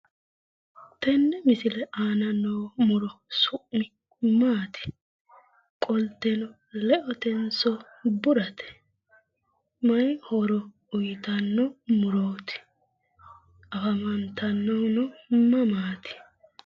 Tenne misile aana noo muro su'mi maati? Qolteno leotenso burate? Mayi horo uyitanno murooti? Afantannohuno mamaati?